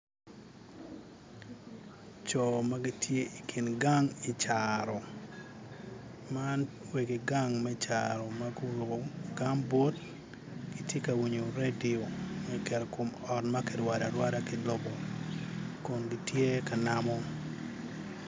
Co ma gitye I kin gang i caro man wegi gang me caro ma guruku gambut tye ka winyo redio ma kiketo i kom ot ma kirwado arwada ki lobo Kun gitye ka namo